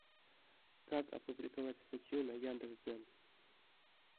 как опубликовать статью на яндекс дзен